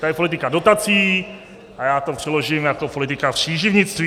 To je politika dotací - a já to přeložím jako politika příživnictví.